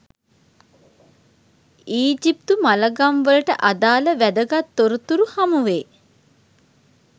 ඊජිප්තු මළගම්වලට අදාළ වැදගත් තොරතුරු හමු වේ.